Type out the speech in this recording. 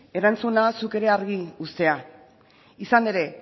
erantzuna zuk ere argi uztea izan ere